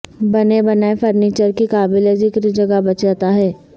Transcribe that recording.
بنے بنائے فرنیچر کی قابل ذکر جگہ بچاتا ہے